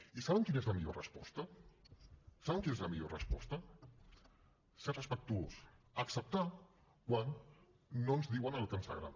i saben quina és la millor resposta saben quina és la millor resposta ser respectuós acceptar quan no ens diuen el que ens agrada